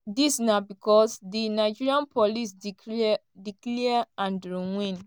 dis na becos di nigeria police declare andrew wynne